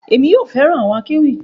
Èmi yóò fẹràn àwọn akéwì